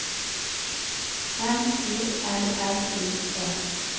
M I L L I E